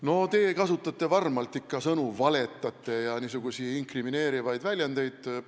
No te kasutate ikka varmalt selliseid sõnu nagu "valetamine" ja niisuguseid inkrimineerivaid väljendeid.